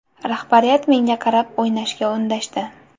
Rahbariyat menga qarab, o‘ynashga undashdi.